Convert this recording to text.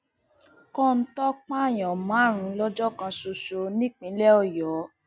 kọńtò pààyàn márùnún lọjọ kan ṣoṣo nípínlẹ ọyọ